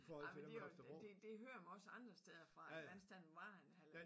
Ej men det også det det hører man også andre steder fra at vandstanden var en halvanden